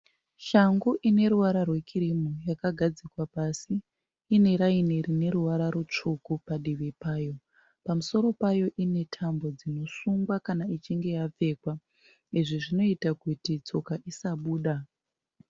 Shangu ineruvara rwekirimu yakagadzikwa pasi. Ineraini rineruvara rutsvuku padivi payo. Pamusoro payo inetambo dzinosungwa kana ichinge yapfekwa, izvi zvinoita kuti tsoka dzisabuda.